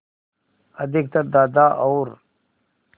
अधिकतर दादा और